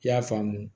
I y'a faamu